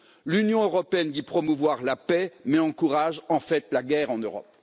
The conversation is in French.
L'Union européenne dit promouvoir la paix, mais encourage en fait la guerre en Europe.